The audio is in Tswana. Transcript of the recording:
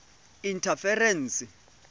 interference